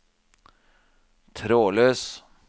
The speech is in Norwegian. trådløs